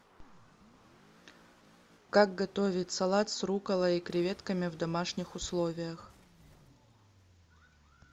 как готовить салат с рукколой и креветками в домашних условиях